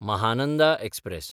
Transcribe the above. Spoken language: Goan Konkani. महानंदा एक्सप्रॅस